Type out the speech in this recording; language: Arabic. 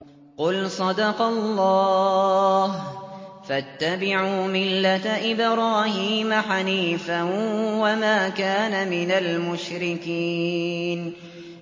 قُلْ صَدَقَ اللَّهُ ۗ فَاتَّبِعُوا مِلَّةَ إِبْرَاهِيمَ حَنِيفًا وَمَا كَانَ مِنَ الْمُشْرِكِينَ